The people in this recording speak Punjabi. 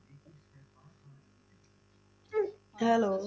Hello